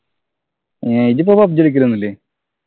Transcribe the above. ഏർ ഇജ്ജിപ്പൊ PUBG കളിക്കലൊന്നു ഇല്ലേ